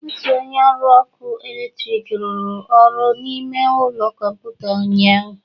Otu onye ọrụ ọkụ eletrik rụrụ ọrụ n'ime ụlọ kọmputa ụnyaahụ